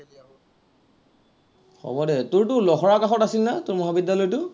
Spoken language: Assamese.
হব দে, তোৰতো লখৰাৰ কাষত আছিল না তোৰ মহাবিদ্য়ালয়টো